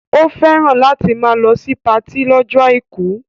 Ó fẹ́ràn láti máa lọ sí patí lọ́jọ́ àìkú